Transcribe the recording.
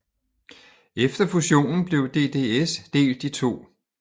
Efter fusionen blev DDS delt i to